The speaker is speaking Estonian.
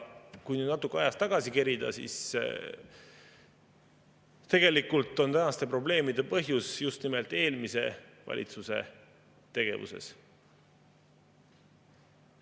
Kui nüüd natuke ajas tagasi kerida, siis tegelikult on tänaste probleemide põhjus just nimelt eelmise valitsuse tegevuses.